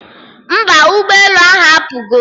Mba, ụgbọ elu ahụ apụgo